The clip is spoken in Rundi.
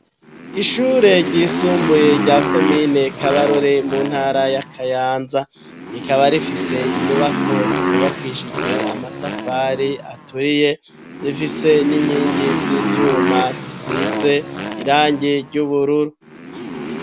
Ishure ryisumbuye rya komine kabarore mu ntara y'akayanza rikaba rifise inyubako zubakishijwe amatafari aturiye zifise n'inkingi z'ivyuma zisize irangi ry'ubururu.